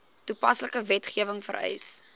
toepaslike wetgewing vereis